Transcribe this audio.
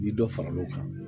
Ni dɔ fara l'o kan